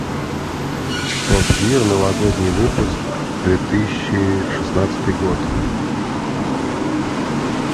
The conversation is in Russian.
топ гир новогодний выпуск две тысячи шестнадцатый год